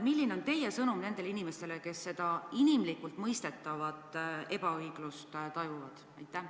Milline on teie sõnum nendele inimestele, kes seda inimlikult mõistetavat ebaõiglust tajuvad?